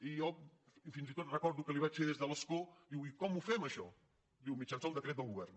i jo fins i tot recordo que li vaig fer des de l’escó diu i com ho fem això diu mitjançant un decret del govern